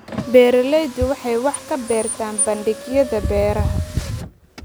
Beeraleydu waxay wax ka bartaan bandhigyada beeraha.